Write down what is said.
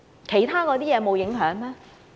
其他措施又沒有影響嗎？